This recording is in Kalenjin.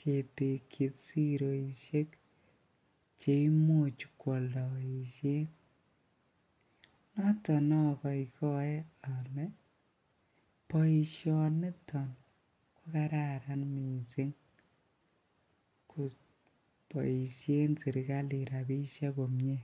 ketekyi siroshek cheimuch kwoldoishen, noton okoikoe olee boishoniton ko kararan mising koboishen serikalit rabishek komnye.